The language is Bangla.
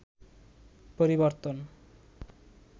পরিবর্তন